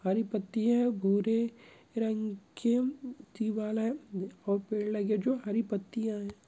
हरी पत्तिया है गोरे रंग की दीवाल है | और पेड़ लगे जो हरे पत्तिया है।